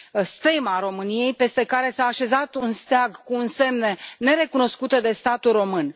stema României, peste care s a așezat un steag cu însemne nerecunoscute de statul român.